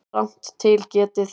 Rangt til getið